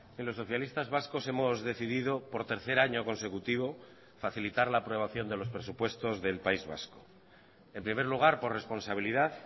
en los socialistas vascos hemos decidido por tercer año consecutivo facilitar la aprobación de los presupuestos del país vasco en primer lugar por responsabilidad